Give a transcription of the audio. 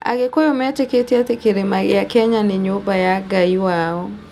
Agĩkũyũ metĩkĩtie atĩ Kĩrĩma gĩa Kenya nĩ nyũmba ya Ngai wao.